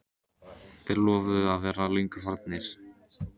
Þeir lofuðu að vera löngu farnir.